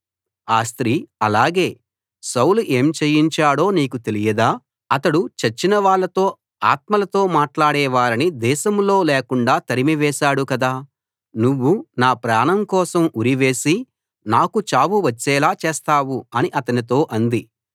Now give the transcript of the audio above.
ఆ స్త్రీ అలాగే సౌలు ఏం చేయించాడో నీకు తెలియదా అతడు చచ్చినవాళ్ళతో ఆత్మలతో మాట్లాడే వారిని దేశంలో లేకుండా తరిమివేశాడు కదా నువ్వు నా ప్రాణం కోసం ఉరివేసి నాకు చావు వచ్చేలా చేస్తావు అని అతనితో అంది